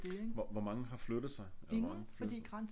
Hvor mange har flyttet sig eller hvor mange flytter sig